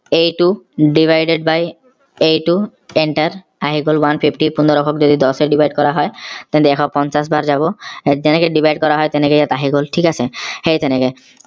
এইটো divided by এইটো enter আহি গল one fifty পোন্ধৰ শ ক যদি দচে divide কৰা হয় তেন্তে এশ পঞ্চাশ বাৰ যাব যেনেকে divide কৰা হয় তেনেকে ইয়াত আহি গল ঠিক আছে সেই তেনেকে